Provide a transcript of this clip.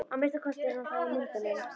Að minnsta kosti er hann það í myndunum.